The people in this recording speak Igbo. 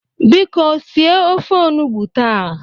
Biko sie ofe onugbo taa!